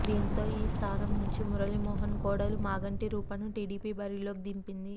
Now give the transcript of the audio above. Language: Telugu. దీంతో ఈ స్థానం నుంచి మురళీమోహన్ కోడలు మాగంటి రూపను టీడీపీ బరిలోకి దింపింది